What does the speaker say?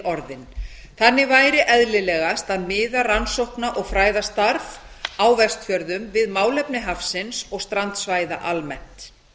orðinn þannig væri eðlilegast að miða rannsókna og fræðastarf á vestfjörðum við málefni hafsins og strandsvæða almennt